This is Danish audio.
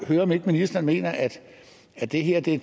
høre om ikke ministeren mener at det her da